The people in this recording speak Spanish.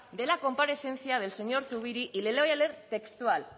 de la comparecencia del señor zubiri y le voy a leer textual